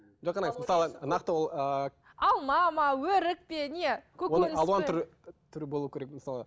мысалы нақты ол ыыы алма ма өрік пе не түрі болуы керек мысалы